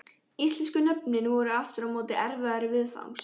Íslensku nöfnin voru aftur á móti erfiðari viðfangs.